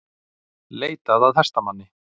Leitað að hestamanni